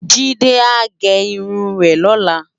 Jide á gè irún rè lòlá